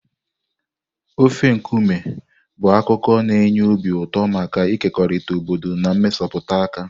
Ofe nkume bụ akụkọ na-enye obi ụtọ maka ịkekọrịta obodo na mmesapụ aka.